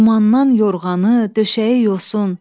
Dumandan yorğanı, döşəyi yosun,